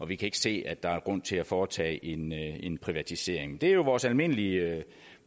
vi kan ikke se at der er grund til at foretage en en privatisering det er jo vores almindelige